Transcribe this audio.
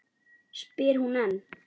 spyr hún enn.